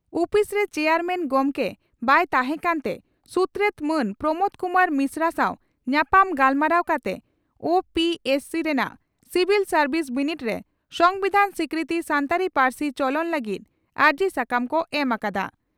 ᱩᱯᱤᱥᱨᱮ chairman ᱜᱚᱢᱠᱮ ᱵᱟᱭ ᱛᱟᱦᱮᱸᱠᱟᱱ ᱛᱮ ᱥᱩᱛᱨᱮᱛ ᱢᱟᱱ ᱯᱨᱚᱢᱚᱫᱽ ᱠᱩᱢᱟᱨ ᱢᱤᱥᱨᱟ ᱥᱟᱣ ᱧᱟᱯᱟᱢ ᱜᱟᱞᱢᱟᱨᱟᱣ ᱠᱟᱛᱮ ᱳᱹᱯᱤᱹᱮᱥᱹᱥᱤᱹ ᱨᱮᱱᱟᱜ ᱥᱤᱵᱷᱤᱞ ᱥᱟᱨᱵᱤᱥ ᱵᱤᱱᱤᱰ ᱨᱮ ᱥᱚᱢᱵᱤᱫᱷᱟᱱ ᱥᱤᱠᱨᱤᱛᱤ ᱥᱟᱱᱛᱟᱲᱤ ᱯᱟᱹᱨᱥᱤ ᱪᱚᱞᱚᱱ ᱞᱟᱹᱜᱤᱫ ᱟᱹᱨᱡᱤ ᱥᱟᱠᱟᱢ ᱠᱚ ᱮᱢ ᱟᱠᱟᱫᱼᱟ ᱾